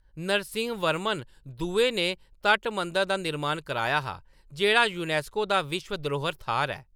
नरसिंहवर्मन दुए ने तट मंदर दा निर्माण कराया हा, जेह्‌‌ड़ा यूनेस्को दा विश्व धरोह्ऱ थाह्‌‌‌र ऐ।